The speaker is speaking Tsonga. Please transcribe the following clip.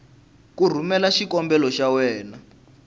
ku rhumela xikombelo xa wena